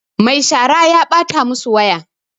Mai shara ta ɓata masu waya